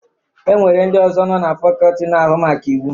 E nwere ndị ọzọ nọ na fakọọti na-ahụ maka Iwu.